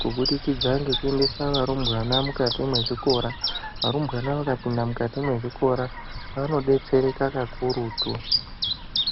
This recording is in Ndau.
kubudikidza ngekuendese varumbwana mukati mwezvikora. Varumbwana vakapinda mukati mwezvikora vanodetsereka kakurutu.